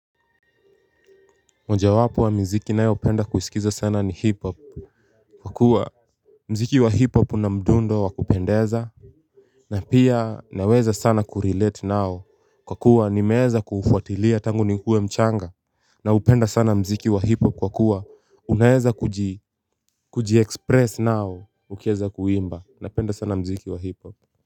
Mojawapo wa miziki nayopenda kusikiza sana ni hiphop. Kwa kuwa muziki wa hiphop una mdundo wakupendeza. Na pia naweza sana kurelate nao kwa kuwa nimeweza kufuatilia tangu nikiwa mchanga. Naupenda sana muziki wa hiphop kwakuwa unaeza kuji express nao ukiweza kuimba napenda sana muziki wa hiphop. Kwa hivyo.